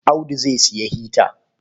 Audu zai sayi hita.